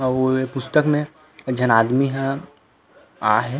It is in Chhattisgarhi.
अऊ ये पुस्तक में एक झन आदमी ह आहे।